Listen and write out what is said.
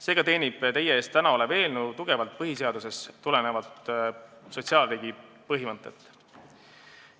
Seega teenib täna teie ees olev eelnõu tugevalt põhiseadusest tulenevat sotsiaalriigi põhimõtet.